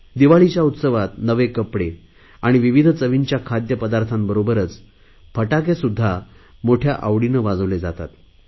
दिवाळीच्या उत्सवात नवे कपडे आणि विविध चवीच्या खाद्य पदार्थांबरोबरच फटाकेसुध्दा मोठया आवडीने वाजवले जातात